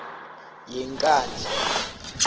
yenkandla